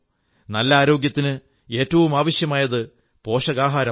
നല്ല ആരോഗ്യത്തിന് ഏറ്റവും ആവശ്യമായത് പോഷകാഹാരമാണ്